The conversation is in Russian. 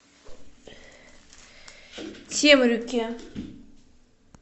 темрюке